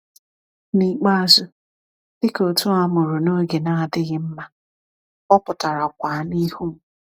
N’ikpeazụ, dịka otu a mụrụ n’oge na-adịghị mma, ọ pụtara kwa n’ihu m.